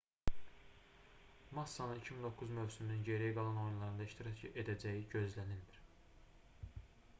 massanın 2009 mövsümünün geriyə qalan oyunlarında iştirak edəcəyi gözlənilmir